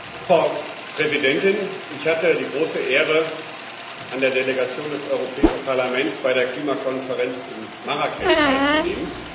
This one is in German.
Frau Präsidentin! Ich hatte die große Ehre, an der Delegation des Europäischen Parlaments bei der Klimakonferenz in Marrakesch teilzunehmen.